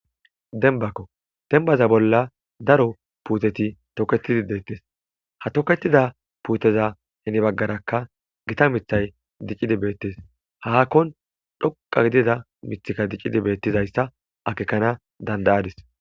Dembbakko dembbaza bolla daro puuteti toketidi deettes. Ha toketida puuteza heni baggaraka gita mithay diccidi beettes.haakkon dhoqa gidida mithika dicidi beettizayssa akekana danda7adis.